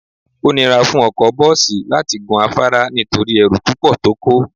Ó nira fún ọkọ bọ́ọ̀sì láti gun afárá nítorí ẹrù púpọ̀ tó kó